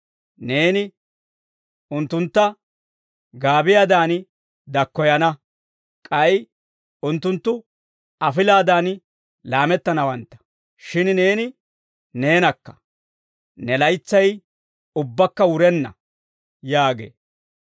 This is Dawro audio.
Neeni unttuntta gaabiyaadan dakkoyana; k'ay unttunttu afilaadan laamettanawantta. Shin neeni neenakka; ne laytsay ubbaakka wurenna» yaagee.